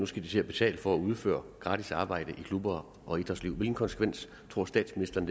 skal til at betale for at udføre gratis arbejde i klubber og idrætsliv hvilken konsekvens tror statsministeren